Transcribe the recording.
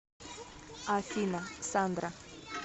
афина сандра